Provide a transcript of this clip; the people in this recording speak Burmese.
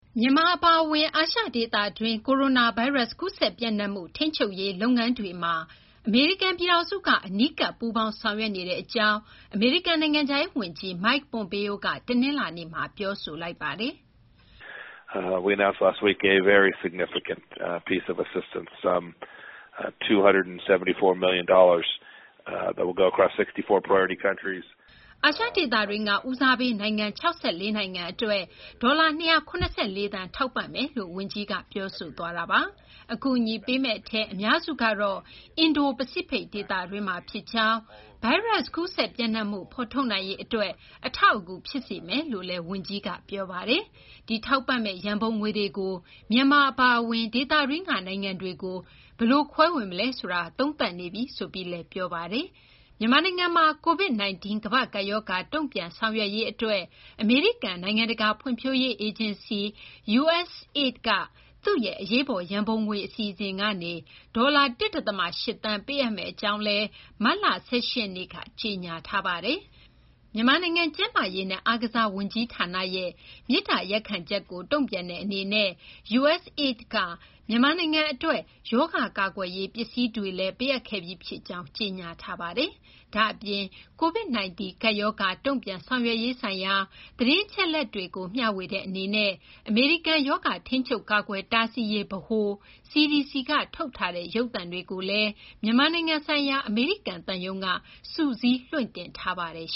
မြန်မာ အပါအဝင် အာရှဒေသတွင်း ကိုရိုနာဗိုင်းရပ်စ် ကူးစက် ပျံ့နှံ့မှုကို ထိန်းချုပ်နိုင်ရေး လုပ်ငန်းတွေမှာ အမေရိကန် ပြည်ထောင်စုက အနီးကပ် ပူးပေါင်းဆောင်ရွက်နေကြောင်း အမေရိကန် နိုင်ငံခြားရေး ဝန်ကြီး Mike Pompeo က တနလာၤနေ့မှာ ပြောဆိုပါတယ်။ “အာရှ ဒေသတွင်းက ဦးစားပေး နိုင်ငံ ၆၄ နိုင်ငံအတွက် ဒေါ်လာ ၂၇၄ သန်း ထောက်ပံ့မယ်” လို့ ဝန်ကြီးက ပြောဆိုသွားတာပါ။ အကူအညီပေးမယ့် အများစုကတော့ အင်ဒို ပစိဖိတ် ဒေသတွင်းမှာ ဖြစ်ကြောင်း၊ ဗိုင်းရပ်စ် ကူးစက်ပျံ့နှံ့မှုကို ဖော်ထုတ်နိုင်ရေး အတွက် အထောက်အကူ ဖြစ်စေမယ်လို့လည်း ဝန်ကြီးက ပြောပါတယ်။ဒီ ထောက်ပံ့မယ့် ရန်ပုံငွေတွေကို မြန်မာ အပါအဝင် ဒေသတွင်းက နိုင်ငံတွေကို ဘယ်လို ခွဲဝေမလဲ ဆိုတာကို သုံးသပ်နေကြောင်းလည်း ပြောဆိုသွားပါတယ်။ မြန်မာနိုင်ငံမှာ COVID 19 ကမ္ဘာ့ကပ်ရောဂါ တုံ့ပြန်ဆောင်ရွက်ရေး အတွက် အမေရိကန် နိုင်ငံတကာ ဖွံ့ဖြိုးရေး အေဂျင်စီ USAID က သူ့ရဲ့ အရေးပေါ် ရန်ပုံငွေ အစီအစဉ်ကနေ ဒေါ်လာ ၁ ဒသမ ၈ သန်း ပေးအပ်မယ့် အကြောင်း မတ်လ ၁၈ ရက်နေ့က ကြေညာခဲ့ပါတယ်။ မြန်မာနိုင်ငံ ကျန်းမာရေးနဲ့ အားကစား ဝန်ကြီးဌာနရဲ့ မေတ္တာရပ်ချက်ကို တုံ့ပြန်တဲ့ အနေနဲ့ USAID က မြန်မာနိုင်ငံ အတွက် ရောဂါကာကွယ်ရေး ပစ္စည်းတွေလည်း ပေးအပ်ခဲ့ပြီး ဖြစ်ကြောင်း ကြေညာထားပါတယ်။ ဒါ့အပြင် COVID 19 ကပ်ရောဂါ တုံ့ပြန်ဆောင်ရွက်ရေးဆိုင်ရာ သတင်းအချက်အလက်တွေကို မျှဝေတဲ့ အနေနဲ့ အမေရိကန် ရောဂါ ထိန်းချုပ်ကာကွယ် တားဆီးရေး ဗဟို CDC က ထုတ်ထားတဲ့ ရုပ်သံတွေကိုလည်း မြန်မာနိုင်ငံ ဆိုင်ရာ အမေရိကန် သံရုံးက စုစည်း လွှင့်တင်ထားပါတယ်